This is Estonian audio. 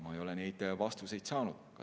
Ma ei ole neid vastuseid saanud.